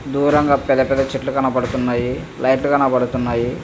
దూరంగా పెద్ద పెద్ద చెట్లు కనబడుతున్నాయి. లైట్స్ కనబడుతున్నాయి.